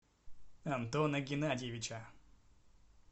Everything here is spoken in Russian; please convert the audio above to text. антона геннадьевича